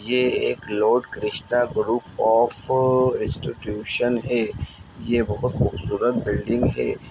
ये एक Lord Krishna group of institution है। ये बोहोत बहु खूबसूरत बिल्डिंग है।